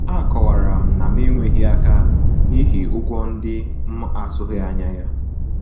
A kọwara m na m enyewughi aka n'ihi ụgwọ ndị m atughi anya ya